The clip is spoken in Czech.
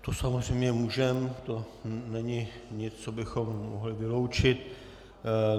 To samozřejmě můžeme, to není nic, co bychom mohli vyloučit.